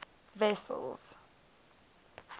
wessels